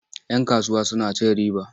Yan kasuwa suna cin riba.